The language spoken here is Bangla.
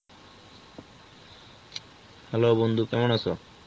hello বন্ধু, কেমন আছো?